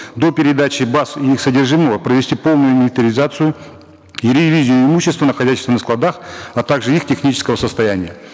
до передачи баз и их содержимого провести полную инвентаризацию и ревизию имущества находящегося на складах а также их технического состояния